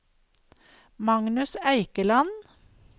Magnus Eikeland